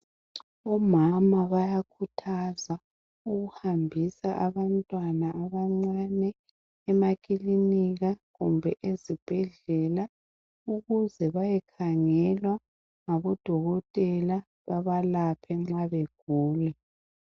Omama bayakhuthazwa ukuhambisa abantwana abancane emakilinika kumbe ezibhedlela ukuze bayekhangelwa ngabodokotela babalaphe nxa begula.